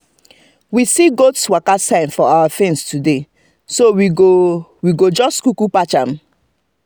we see goat waka sign for our fence today so we go go just kuku patch am